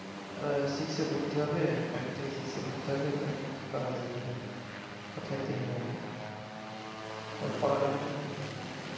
সিক্সে ভর্তি হবে ফাইভ থেকে সিক্স ভর্তি হবে তা এখন কি করা যায় বলেন, কোথায় দেব ওকে ওর পড়ালেখাটা নিয়ে